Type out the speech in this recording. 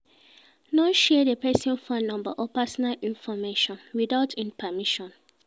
No share di persin phone number or personal information without in permissions